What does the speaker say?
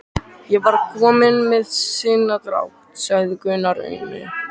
Ég var bara kominn með sinadrátt, sagði Gunni aumur.